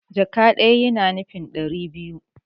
Jaka ɗaya yana nufin ɗari biyu